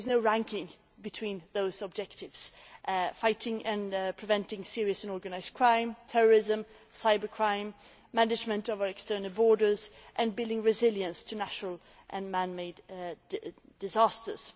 There is no ranking between those objectives, which are fighting and preventing serious and organised crime, terrorism and cybercrime, management of our external borders, and building resilience to natural and man made disasters.